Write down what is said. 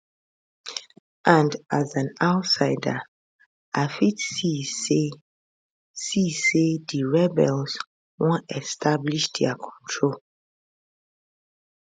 and as an outsider i fit see say see say di rebels wan establish dia control